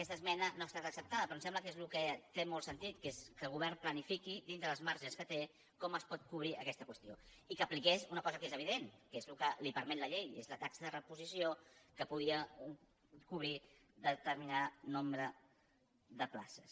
aquesta esmena no ha estat acceptada però em sem·bla que és el que té molt sentit que és que el govern planifiqui dins dels marges que té com es pot cobrir aquesta qüestió i que apliqués una cosa que és evi·dent que és el que li permet la llei és la taxa de repo·sició que podia cobrir determinat nombre de places